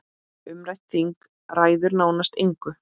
Umrætt þing ræður nánast engu.